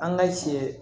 An ka cɛ